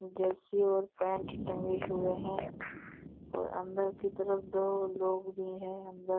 Jersey और pant टंगे हुए हैं और अंदर की तरफ दो लोग भी है अंदर --